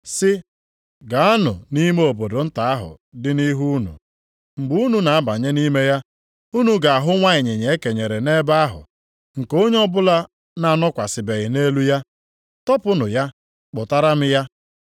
sị, “Gaanụ nʼime obodo nta ahụ dị nʼihu unu. Mgbe unu na-abanye nʼime ya, unu ga-ahụ nwa ịnyịnya e kenyere nʼebe ahụ nke onye ọbụla na-anọkwasịbeghi nʼelu ya, tọpụnụ ya, kpụtara m ya.